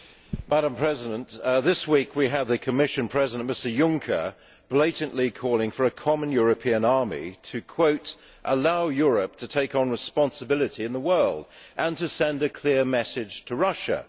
Madam President, this week we had the Commission President, Mr Juncker, blatantly calling for a common European army to, and I quote ʽallow Europe to take on responsibility in the world and to send a clear message to Russiaʼ.